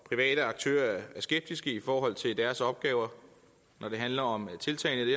private aktører er skeptiske i forhold til deres opgaver når det handler om tiltagene